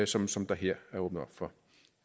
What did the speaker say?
som som der her er åbnet op for